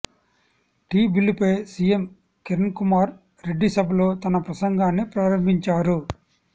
tea బిల్లుపై CM Kiran Kumar Reddy సభలో తన ప్రసంగాన్ని ప్రారంభించారు